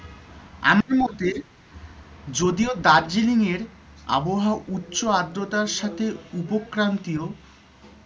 আমার মতে যদিও দার্জিলিং এর আবহাওয়া উচ্চ আদ্রতার সাথে